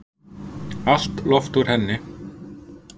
Allt loft úr henni